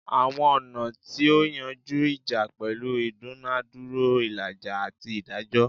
Awọn ọna ti o yanju ija pẹlu idunadura, ilaja, ati idajọ